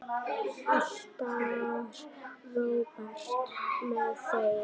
Ætlar Róbert með þér?